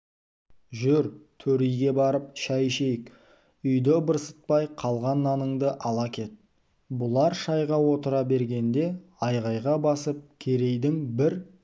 жүр төр үйге барып шай ішейік үйді ыбырсытпай қалған наныңды ала кет бұлар шайға отыра бергенде айғайға басып керейдің бір